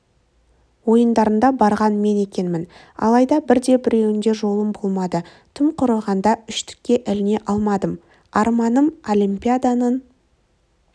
ойындарына барған мен екенмін алайда бірде-біреуінде жолым болмады тым құрығанда үштікке іліне алмадым арманым олимпиаданың